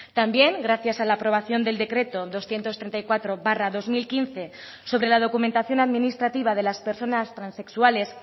también gracias a la aprobación del decreto doscientos treinta y cuatro barra dos mil quince sobre la documentación administrativa de las personas transexuales